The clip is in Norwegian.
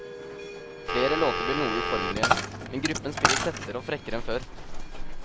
Flere låter blir noe uformelige, men gruppen spiller tettere og frekkere enn før.